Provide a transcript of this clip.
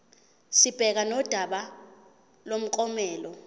sibhekane nodaba lomklomelo